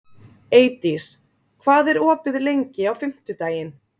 Eydís, hvað er opið lengi á fimmtudaginn?